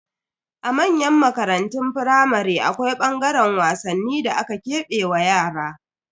A manyan makarantun firamare, akwai ɓangaren wasanni da aka kebe wa yara.